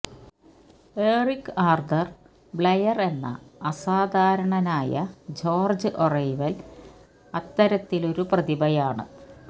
Eric Arthur Blair എന്ന അസാധാരണനായ George Orwell അത്തരത്തിലൊരു പ്രതിഭയാണ്